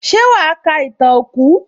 Ṣé wàá ka ìtàn òkú?